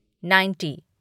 ninety